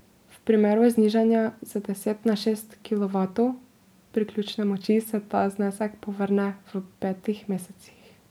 V primeru znižanja z deset na šest kilovatov priključne moči se ta znesek povrne v petih mesecih.